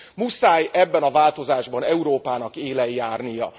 Muszáj ebben a változásban Európának élen járnia.